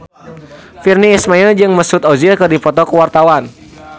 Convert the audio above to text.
Virnie Ismail jeung Mesut Ozil keur dipoto ku wartawan